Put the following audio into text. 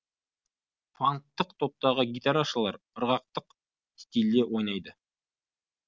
фанктық топтағы гитарашылар ырғақтық стильде ойнайды